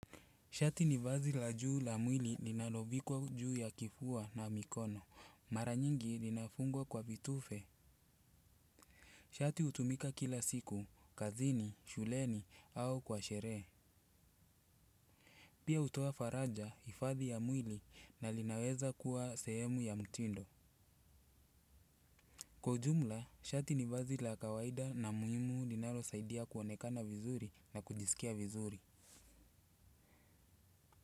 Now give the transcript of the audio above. Shati ni vazi la juu la mwili linalovikwa juu ya kifua na mikono. Mara mingi limefungwa kwa vitufe. Shati hutumika kila siku, kazini, shuleni, au kwa sherehe. Pia hutoa faraja, ifadhi ya mwili na linaweza kuwa sehemu ya mtindo. Kwa jumla, shati nivazi la kawaida na muhimu linalo saidia kuonekana vizuri na kujisikia vizuri.